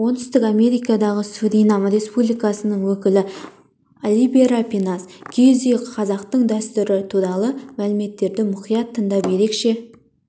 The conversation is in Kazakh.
оңтүстік америкадағы суринам республикасының өкілі оливера пинас киіз үй қазақтың дәстүрі туралы мәліметтерді мұқият тыңдап ерекше